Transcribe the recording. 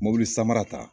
Mobili samara ta